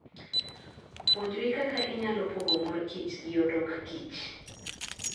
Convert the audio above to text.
Puonjri kaka inyalo pogo mor kich gi odokkich.